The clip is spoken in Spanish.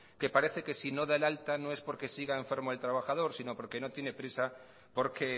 que parece que si no da el alta no es porque siga enfermo el trabajador sino porque no tiene prisa porque